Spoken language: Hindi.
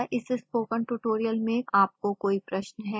क्या इस स्पोकन ट्यूटोरियल में आपको कोई प्रश्न है